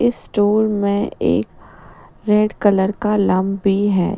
इस स्टूल में एक रेड कलर का भी है ---